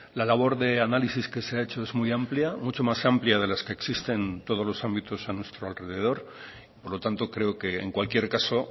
la labor de análisis que se ha hecho es muy amplia mucho más amplia de las que existen en todos los ámbitos a nuestro alrededor por lo tanto creo que en cualquier caso